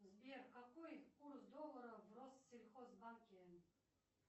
сбер какой курс доллара в россельхозбанке